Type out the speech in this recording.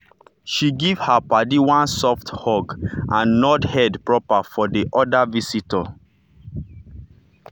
she give her paddy one soft hug and nod head proper for the other visitor.